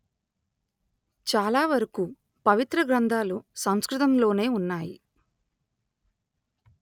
చాలావరకు పవిత్ర గ్రంథాలు సంస్కృతం లోనే ఉన్నాయి